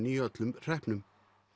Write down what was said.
í öllum hreppnum